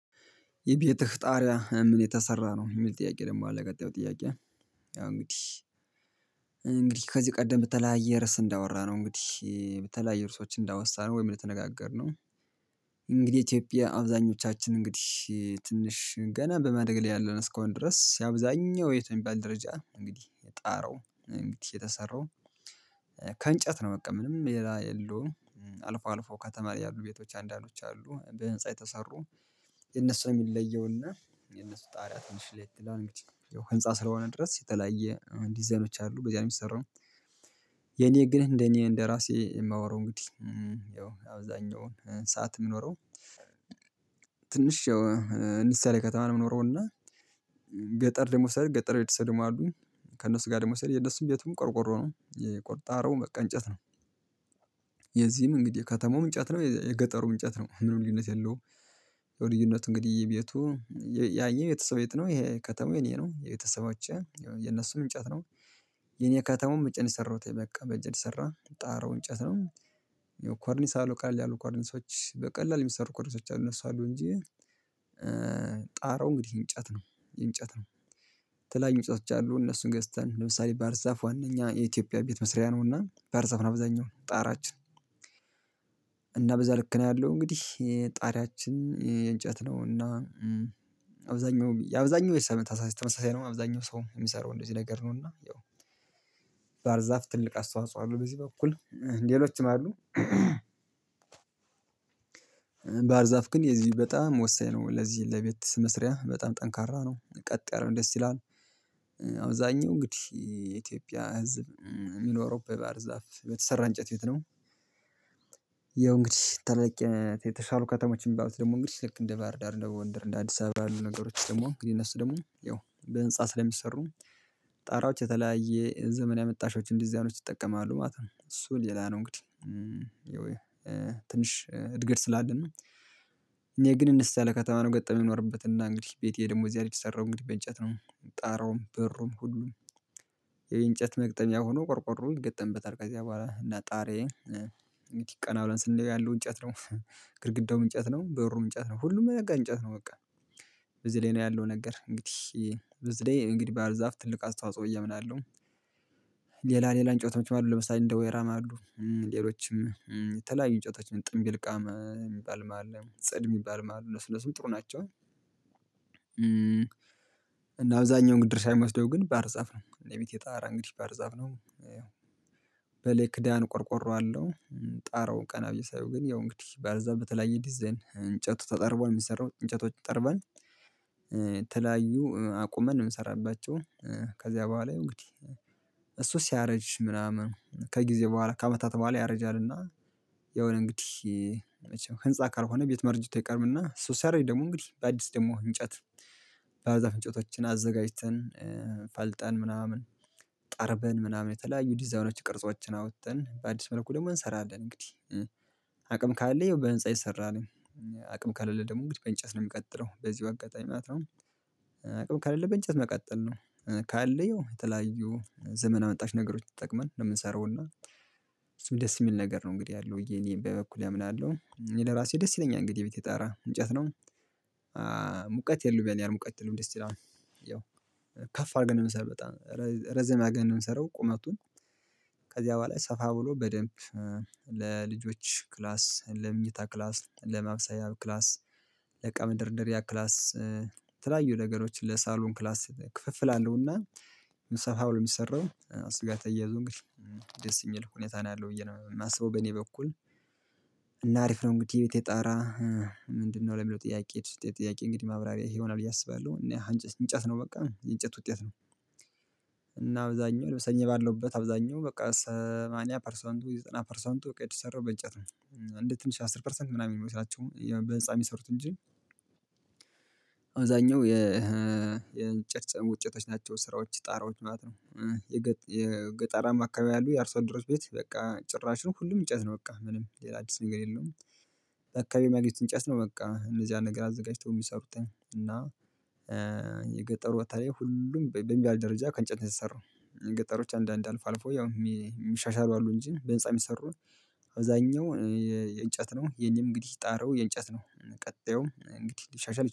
የቤትህ ጣሪያ ከምን የተሰራ ነው የሚል ጥያቄ ደግሞ አለ ቀጣዩ ጥያቄ? ያው እንግዲህ እንግዲህ ከዚህ ቀደም በተለያየ ርዕስ እንዳወራነው እንግዲህ በተለያየ ርዕሶች እንዳወሳነው ወይም እንደተነጋገርነው። ኢትዮጵያ አብዛኞቻችን እንግዲህ ትንሽ ገና በማደግ ላይ ያለን እስከሆንን ድረስ ያው አብዛኛው ቤት በሚባል ደረጃ እንግዲህ ጣራው እንግዲህ የተሰራው ከእንጨት ነው። በቃ ምንም ሌላ የለውም አልፎ አልፎ ከተማ ያሉ ቤቶች አንዳንዶች አሉ በህንፃ የተሰሩ የነሱ የሚለየውና የነሱ ጣሪያ ትንሽ ለየት ይላል እንግዲህ ህንፃ ስለሆነ ድረስ የተለያየ ዲዛይኖች አሉ በዚያ ነው የሚሰራው። የኔ ግን እንደኔ እንደራሴ የማወራው እንግዲህ ያው አብዛኛውን ሰዓት የምኖረው ትንሽ ያው አነስ ያለ ከተማ ነው የምኖረው እና። ገጠር ደግሞ ስሄድ ገጠር የተሰደሙ አሉ ከእነሱ ጋር ደሞ ሰሄድ የእነሱን ቤቱም ቆርቆሮ ነው የቆጣሪያውም በቃ እንጨት ነው። የዚህም እንግዲህ ከተማውም እንጨት ነው የገጠሩም እንጨት ነው ምንም ልዩነት የለውም። ያው ልዩነት እንግዲህ የቤቱ ያኛው የቤተሰቤ ቤት ነው ይሄ ከተማው የእኔ ነው የቤተሰቦቼ የነሱም እንጨት ነው። የኔ ከተማው በእጄ ነው የሰራሁት በቃ በእጅ የተሰራ ጣራው እንጨት ነው። ያው ኮርኒስ አለው ቀለል ያሉ ኮርኒሶች በቀላሉ የሚሰሩ ኮርኒሶች አሉ እነሱ አሉ እንጂ ጣራው እንግዲህ እንጨት ነው የእንጨት ነው። የተለያዩ እንጨቶች አሉ እነሱን ገዝተን ለምሳሌ ባህርዛፍ ዋነኛ የኢትዮጵያ ቤት መስሪያ ነውና ባህርዛፍ ነው አብዛኛው ጣራችን። እና በዛ ልክ ነው ያለው እንግዲህ ጣሪያችን የእንጨት ነው እና አብዛኛው የአብዛኛው የሰው ተመሳሳይ ነው አብዛኛው ሰው የሚሰራው እንደዚህ ነገር ነው። እና ያው ባህርዛፍ ትልቅ አስተዋጽኦ አለው በዚህ በኩል ሌሎችም አሉ። ባህር ዛፍ ግን የዚህ በጣም ወሳኝ ነው ለዚህ ለቤት መስሪያ በጣም ጠንካራ ነው ቀጥ ያለው ደስ ይላል። አብዛኛው እንግዲህ የኢትዮጵያ ህዝብ የሚኖረው በባህር ዛፍ በተሰራ እንጨት ቤት ነው። ያው እንግዲህ ተለቅ የተሻሉ ከተሞች የሚባሉት ደግሞ እንግዲህ ልክ እንደ ባህር ዳር እንደ ጎንደር እንደ አዲስ አበባ ያሉ ነገሮች ደግሞ እንግዲህ እነሱ ደግሞ ያው በህንፃ ስለሚሰሩ ጣራዎች የተለያየ ዘመን ያመጣሾች ዲዛይኖች ይጠቀማሉ ማለት ነው። እሱ ሌላ ነው እንግዲህ ትንሽ እድገት ስላለን ነው። እኔ ግን እንስ ያለ ከተማ ነው ገጠመኝ የምኖርበት እና እንግዲህ ቤቴ ደግሞ እዚያ ነው የተሰራው እንግዲህ በእንጨት ነው ጣራውም በሩም ሁሉም የእንጨት መግጠሚያ ሆኖ ቆርቆሮ ይገጠምበታል ከዚያ በኋላ እና ጣሪዬ ቀና ብለን ስናየው ያለው እንጨት ነው። ግድግዳውም እንጨት ነው በሩም እንጨት ነው ሁሉም ነገር እንጨት ነው በቃ በዚ ላይ ነው ያለው ነገር እንግዲህ በዚላይ እንግዲህ ባህርዛፍ ትልቅ አስተዋጽኦ ብዬ አምናለሁ። ሌላ ሌላ እንጨቶችም አሉ ለምሳሌ እንደ ወይራም አሉ ሌሎችም የተለያዩ እንጨቶች ጥምቢልቃም የሚባልም አለ ጽድ የሚባልም አለ እነሱ እነሱም ጥሩ ናቸው። እና አብዛኛውን ድርሻ የሚወስደው ግን ባህርዛፍ ነው የቤቴ ጣራ እንግዲህ ባህርዛፍ ነው። ክዳን ቆርቆሮአለው ጣራውን ቀና ብዬ ሳየው ግን ያው እንግዲህ ባህርዛፍ በተለያየ ዲዛይን እንጨቱ ተጠርቦ ነው የሚሰራው እንጨቶች ጠርበን የተለያዩ አቁመን የምንሰራባቸው ከዚያ በኋላ ያው እንግዲህ እሱ ሲያረጅ ምናምን ከጊዜ በኋላ ከአመታት በኋላ ያረጃልና። የሆነ እንግዲህ ህንፃ ካልሆነ ቤት ማርጀቱ አይቀርምና ሶሲያረጅ ደግሞ እንግዲህ በአዲስ ደግሞ እንጨት ባህርዛፍ እንጨቶችን አዘጋጅተን ፈልጠን ምናምን ጠርበን ምናምን የተለያዩ ዲዛይኖች ቅርጾችን አውጥተን በአዲስ መልኩ ደግሞ እንሰራለን። እንግዲህ አቅም ካለ ያው በህንፃ ይሰራል አቅም ከሌለ ደግሞ እንግዲህ በእንጨት ነው የምቀጥለው በዚሁ አጋጣሚ ማለት ነው። አቅም ከሌለ በእንጨት መቀጠል ነው ካለያው የተለያዩ ዘመን አመጣሽ ነገሮችን ተጠቅመን ነው የምንሰራውና እሱም ደስ የሚል ነገር ነው እንግዲህ ያለው ብዬ እኔ በበኩሌ አምናለሁ እኔ ለራሴ ደስ ይለኛል እንግዲህ የቤቴ ጣራ እንጨት ነው። የለውም ያን ያህል ሙቀት የለውም ደስ ይላል ያው ከፍ አድርገን ነው የምንሰራው በጣም ረዘም አድርገን ነው የምንሰራው ቁመቱን ከዚያ በኋላ ሰፋ ብሎ በደንብ ለልጆች ክላስ ለምኝታ ክላስ ለማብሰያ ክላስ ለእቃ መደርደሪያ ክላስ የተለያዩ ነገሮችን ለሳሎን ክላስ ክፍፍል አለውና ሰፋ ብሎ የሚሰራው እሱ ጋር ተያይዞ እንግዲህ ደስ የሚል ሁኔታ ነው ያለው ብዬ ነው የማስበው በእኔ በኩል እና አሪፍ ነው እንግዲህ የቤቴ ጣራ። ምንድነው ለሚለው ጥያቄ የጥያቄ እንግዲህ ማብራሪያ ይሄ ይሆናል ብዬ አስባለሁ እና እንጨት ነው በቃ የእንጨት ውጤት ነው። እና አብዛኛው እኔ ባለውበት አብዛኛው በቃ ሰማንያ ፐርሰንቱ ዘጠና ፐርሰንቱ በቃ የተሰራው በእንጨት ነው እንዴት ትንሽ አስር ፐርሰንት ምናምን የሚሆኑት ናቸው በህንፃ የሚሰሩት እንጂ። አብዛኛው የ የእንጨት ውጤቶች ናቸው ስራዎች ጣራዎች ማለት ነው። የገጣራማ አካባቢ ያሉ የአርሶአደሮች ቤት በቃ ጭራሽ ነው ሁሉም እንጨት ነው በቃ ምንም ሌላ አዲስ ነገር የለውም። አካባቢ የሚያገኙት እንጨት ነው በቃ እነዚያን ነገር አዘጋጅተው የሚሰሩት እና የገጠሩ ቦታ ላይ ሁሉም በሚባል ደረጃ ከእንጨት ነው የተሰራው። ገጠሮች አንዳንድ አልፎ አልፎ ያው የሚሻሻሉ አሉ እንጂ በህንፃ የሚሰሩ አብዛኛው የእንጨት ነው የኔም እንግዲህ ጣራው የእንጨት ነው። ቀጣዩም እንግዲህ ሊሻሻል